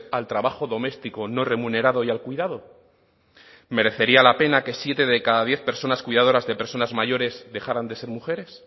al trabajo doméstico no remunerado y al cuidado merecería la pena que siete de cada diez personas cuidadoras de personas mayores dejaran de ser mujeres